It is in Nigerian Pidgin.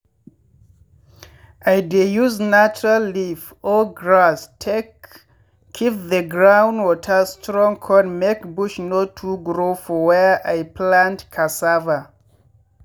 i dey use natural leaf or grass take keep the ground water strong con make bush no too grow for where i plant cassava